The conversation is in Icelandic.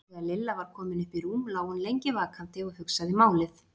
Þegar Lilla var komin upp í rúm lá hún lengi vakandi og hugsaði málið.